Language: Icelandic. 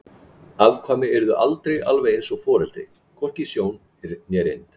Afkvæmi yrði aldrei alveg eins og foreldri, hvorki í sjón né reynd.